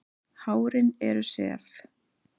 Hárin eru sef.